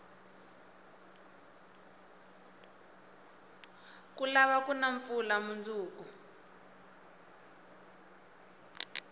ku lava kuna mpfula munduku